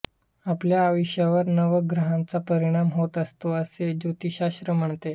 आपल्या आयुष्यावर नवग्रहांचा परिणाम होत असतो असे ज्योतिषशास्त्र म्हणते